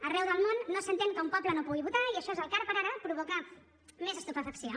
arreu del món no s’entén que un poble no pugui votar i això és el que ara per ara provoca més estupefacció